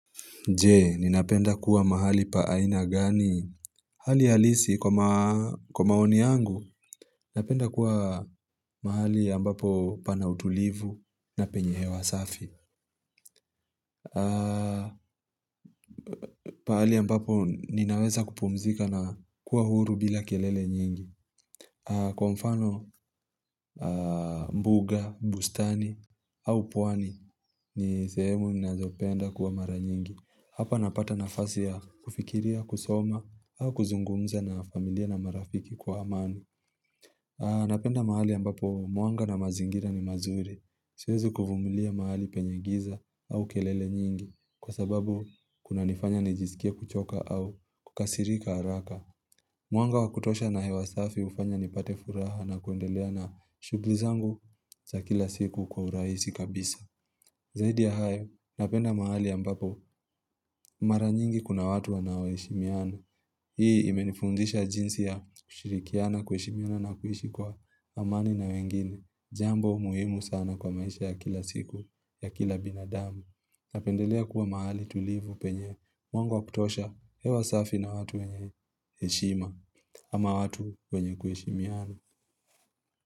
Je, ninapenda kuwa mahali pa aina gani? Hali halisi, kwa maoni yangu, ninapenda kuwa mahali ambapo pana utulivu na penye he wa safi. Pahali ambapo ninaweza kupumzika na kuwa huru bila kelele nyingi. Kwa mfano mbuga, bustani, au pwani, ni sehemu ninazopenda kuwa mara nyingi. Hapa napata na fasi ya kufikiria, kusoma, au kuzungumza na familia na marafiki kwa amani. Napenda mahali ambapo mwanga na mazingira ni mazuri. Siwezi kuvumulia mahali penye giza au kelele nyingi kwa sababu kuna nifanya nijizikia kuchoka au kukasirika haraka. Mwanga wakutosha na hewasafi hufanya nipate furaha na kuendelea na shughulizangu za kila siku kwa urahisi kabisa. Zaidi ya hao, napenda mahali ambapo mara nyingi kuna watu wanawoheshimiana. Hii imenifundisha jinsi ya kushirikiana kweishimiana na kuhishi kwa amani na wengine. Jambo muhimu sana kwa maisha ya kila siku ya kila binadamu. Napendelea kuwa mahali tulivu penye mwanga wa kutosha hewa safi na watu wenye heshima ama watu wenye kuheshimiana.